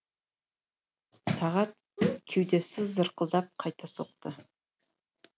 сағат кеудесі зырқылдап қайта соқты